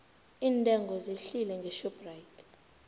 iintengo zehlile ngeshoprite